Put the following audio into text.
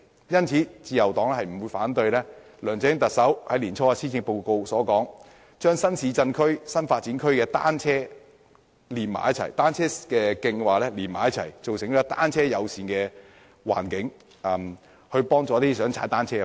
因此，自由黨不會反對特首梁振英年初在施政報告中提出將新市鎮和新發展區的單車徑串連起來的建議，發展單車友善的環境，協助一些想踏單車的人士。